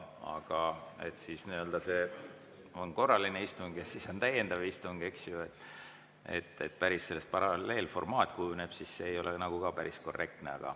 Aga et on korraline istung ja siis on täiendav istung ja kui sellest päris paralleelformaat kujuneb, siis see ei ole nagu päris korrektne.